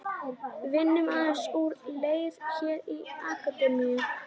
Við vinnum aðeins úr leir hér í Akademíunni.